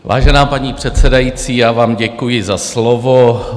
Vážená paní předsedající, já vám děkuji za slovo.